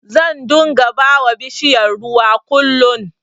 Zan dunga bawa bishiyar ruwa kullin